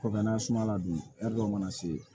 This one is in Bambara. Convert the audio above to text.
Kɔkanna suma la dun dɔw mana se